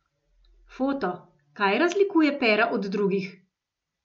Foto: "Kaj razlikuje Pera od drugih?